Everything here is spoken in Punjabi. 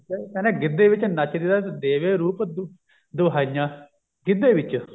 ਕਹਿੰਦੇ ਗੀਧੇ ਵਿੱਚ ਨੱਚਦੀ ਦਾ ਦੇਵੇ ਰੂਪ ਦੁਹਾਈਆਂ ਗਿੱਧੇ ਵਿੱਚ